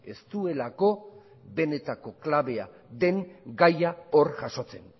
ez duelako benetako klabea den gaia hor jasotzen